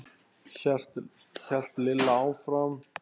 hélt Lilla áfram.